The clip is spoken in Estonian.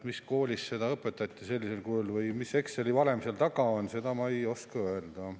Mis koolis seda õpetati sellisel kujul või mis Exceli valem seal taga on, seda ma ei oska öelda.